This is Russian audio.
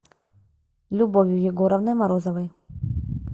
любовью егоровной морозовой